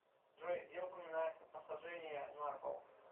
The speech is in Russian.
джой где упоминается посажение на кол